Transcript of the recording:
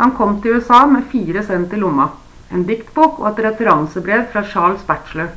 han kom til usa med 4 cent i lomma en diktbok og et referansebrev fra charles batchelor